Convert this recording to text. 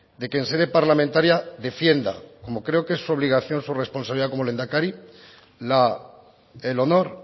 de que en sede parlamentaria defienda como creo que es su obligación su responsabilidad como lehendakari el honor